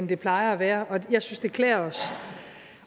det plejer at være og jeg synes det klæder os